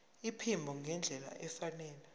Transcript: iphimbo ngendlela efanele